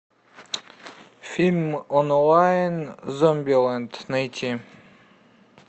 фильм онлайн зомбилэнд найти